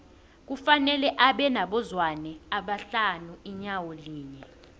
kufanele abe nabo zwane abahlanu inyawo linye